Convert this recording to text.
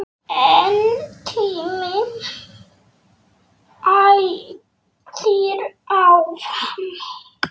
En tíminn æðir áfram.